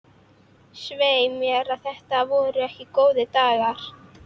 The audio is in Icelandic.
Svei mér ef þetta voru ekki góðir dagar.